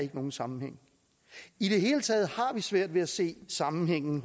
nogen sammenhæng i det hele taget har vi svært ved at se sammenhængen